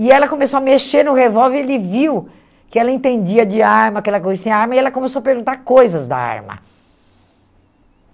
E ela começou a mexer no revólver e ele viu que ela entendia de arma, que ela conhecia arma, e ela começou a perguntar coisas da arma.